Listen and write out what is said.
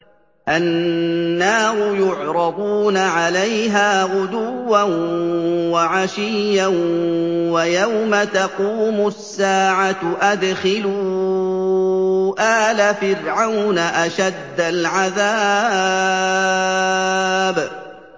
النَّارُ يُعْرَضُونَ عَلَيْهَا غُدُوًّا وَعَشِيًّا ۖ وَيَوْمَ تَقُومُ السَّاعَةُ أَدْخِلُوا آلَ فِرْعَوْنَ أَشَدَّ الْعَذَابِ